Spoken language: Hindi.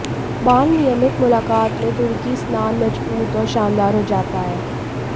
बाल नियमित मुलाकात में तुर्की स्नान मजबूत और शानदार हो जाता है